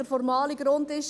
Der formale Grund ist: